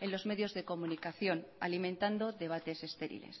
en los medios de comunicación alimentando debates estériles